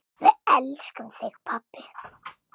Við elskum þig, pabbi.